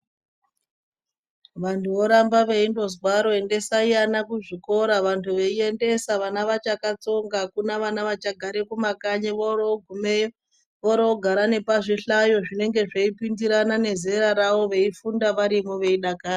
Vantu voramba vengozwaro vantu endesai vana kuzvikora vantu veiendesa vana vachakatsonga akuna vana vachagata kumakanyi. Worogumeyo vorogara pazvihlayo zvinenge zveipindirana nezera ravo veifunda varimwo veidakara.